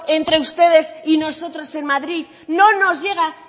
entre ustedes y nosotros en madrid no nos llega